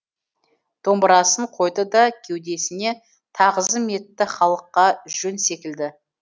домбырасын қойды да кеудесіне тағзым етті халыққа жөн секілді